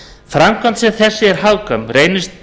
framkvæmd sem þessi ef hagkvæm reynist